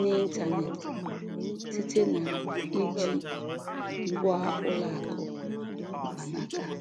n'ịntanetị site na iji ngwa ụlọ akụ mkpanaka.